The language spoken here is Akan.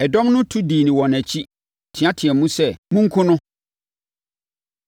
Ɛdɔm no tu dii wɔn akyi teateaam sɛ, “Monkum no!” Paulo Yi Ne Ho Ano